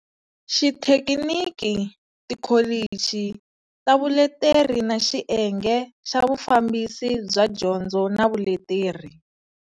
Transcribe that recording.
Xithekiniki, tikholichi ta vuleteri na Xiyenge xa Vufambisi bya Dyondzo na Vuleteri.